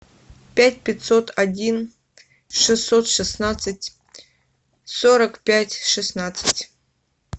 пять пятьсот один шестьсот шестнадцать сорок пять шестнадцать